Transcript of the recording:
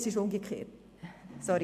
Es ist umgekehrt, sorry.